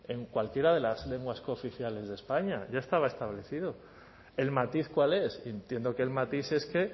en cualquiera de las lenguas cooficiales de españa ya estaba establecido el matiz cuál es entiendo que el matiz es que